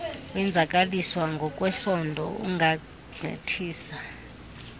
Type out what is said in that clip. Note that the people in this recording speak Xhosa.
wenzakaliswa ngokwesondo ungagqithisa